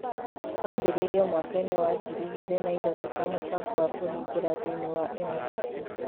Wambĩrĩirio mwaka-inĩ wa 2003 ta mũbango wa kũhingũra thĩiniĩ wa MIT